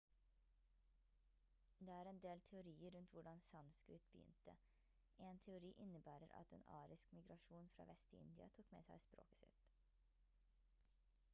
det er en del teorier rundt hvordan sanskrit begynte en teori innebærer at en arisk migrasjon fra vest i india tok med seg språket sitt